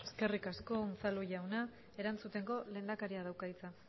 eskerrik asko unzalu jauna erantzuteko lehendakari dauka hitza